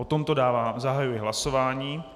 O tomto zahajuji hlasování.